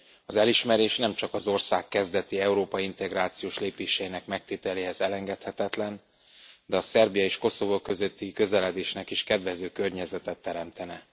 Az elismerés nemcsak az ország kezdeti európai integrációs lépéseinek megtételéhez elengedhetetlen, de a Szerbia és Koszovó közötti közeledésnek is kedvező környezetet teremtene.